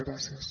gràcies